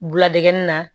Biladege nin na